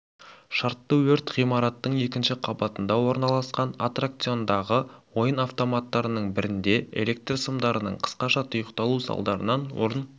шартты өрт ғимараттың екінші қабатында орналасқан аттракционындағы ойын автоматтарының бірінде электр сымдарының қысқаша тұйықталу салдарынан орын